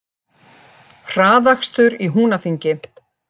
Hraðakstur í Húnaþingi